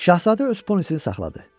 Şahzadə öz ponisini saxladı.